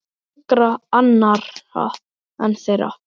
Engra annarra en þeirra.